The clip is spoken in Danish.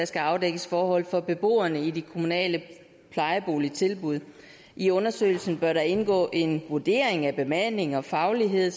skal afdække forhold for beboerne i de kommunale plejeboligtilbud i undersøgelsen bør indgå en vurdering af bemanding og faglighed